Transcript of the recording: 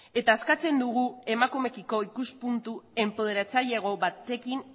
eta eskatzen dugu emakumeekiko ikuspuntu enpoderatzailego batekin